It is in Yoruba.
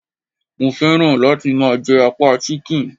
Mo féràn láti máa je apá Chicken